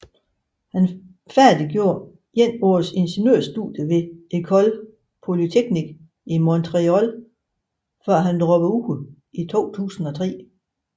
Han færdiggjorde et års ingeniørstudier ved École Polytechnique i Montréal før han droppede ud i 2003